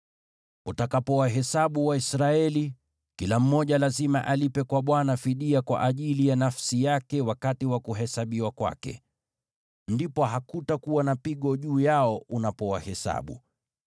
“Utakapowahesabu Waisraeli, kila mmoja lazima alipe kwa Bwana fidia kwa ajili ya nafsi yake wakati wa kuhesabiwa kwake. Ndipo hakutakuwa na pigo juu yao unapowahesabu.